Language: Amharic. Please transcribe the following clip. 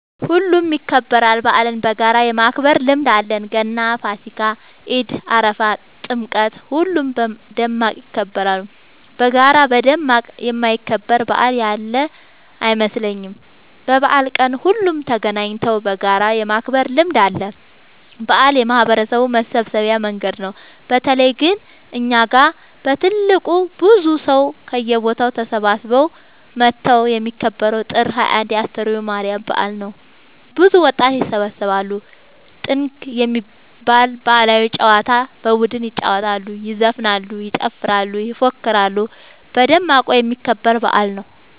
ሁሉም ይከበራል። በአልን በጋራ የማክበር ልምድ አለን ገና ፋሲካ ኢድ አረፋ ጥምቀት ሁሉም በደማቅ ይከበራሉ። በጋራ በደማቅ የማይከበር በአል ያለ አይመስለኝም። በበአል ቀን ሁሉም ተገናኘተው በጋራ የማክበር ልምድ አለ። በአል የማህበረሰቡ መሰብሰቢያ መንገድ ነው። በተለይ ግን እኛ ጋ በትልቁ ብዙ ሰው ከየቦታው ተሰብስበው መተው የሚከበረው ጥር 21 የ አስተርዮ ማርያም በአል ነው። ብዙ ወጣት ይሰባሰባሉ። ጥንግ የሚባል ባህላዊ ጨዋታ በቡድን ይጫወታሉ ይዘፍናሉ ይጨፍራሉ ይፎክራሉ በደማቁ የሚከበር በአል ነው።